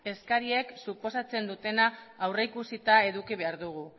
eskariek suposatzen dutena aurrikusita eduki behar dugu